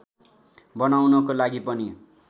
बनाउनको लागि पनि